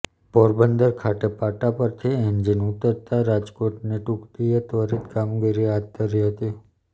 પોરબંદર ખાતે પાટા પરથી એન્જીન ઉતરતાં રાજકોટની ટૂકડીએ ત્વરીત કામગીરી હાથ ધરી હતી